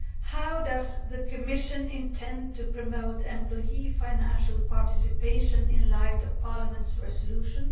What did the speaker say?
How does the Commission intend to promote employee financial participation in the light of Parliament's resolution?